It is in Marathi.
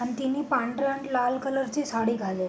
आण तिने पांढर अन लाल कलर ची साडी घाले --